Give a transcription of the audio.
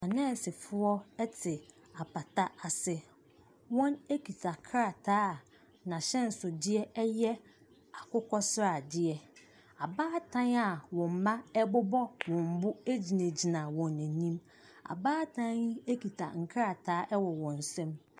Anursefoɔ te apata ase. Wɔkita krataa n'ahyɛnsodeɛ yɛ akokɔsradeɛ. Abaatan a wɔn mmaa bobɔ wɔn bo gyinagyina wɔn anim. Abaatan yi kita nkrataa wɔ wɔn nsam.